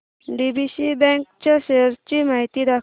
DCB bank च्या shares ची माहिती दाखव